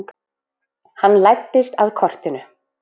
Hann læddist að kortinu.